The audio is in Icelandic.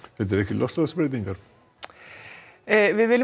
þetta eru ekki loftslagsbreytingar við viljum